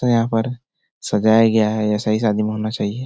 तो यहाँ पर सजाया गया है ऐसा ही शादी में होना चाहिये।